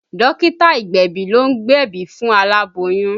Dókítà ìgbẹ̀bì ló ń gbebi fún alaboyun